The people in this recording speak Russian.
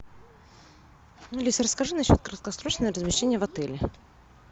алиса расскажи на счет краткосрочного размещения в отеле